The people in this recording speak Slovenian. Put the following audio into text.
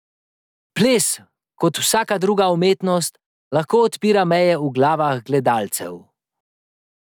Ples, kot vsaka druga umetnost, lahko odpira meje v glavah gledalcev.